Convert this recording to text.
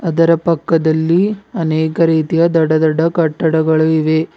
ಅದರ ಪಕ್ಕದಲ್ಲಿ ಅನೇಕ ರೀತಿಯ ದೊಡ್ಡ ದೊಡ್ಡ ಕಟ್ಟಡಗಳು ಇವೆ.